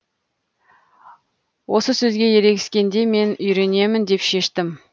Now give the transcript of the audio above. осы сөзге ерегескенде мен үйренемін деп шештім